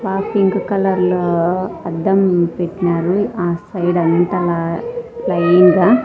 బా pink colour లో అద్దం పెట్టినారు ఆ సైడ్ అంతాలా ప్లైన్ గా.